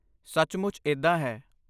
ਸੱਚਮੁੱਚ ਇੱਦਾਂ ਹੈ।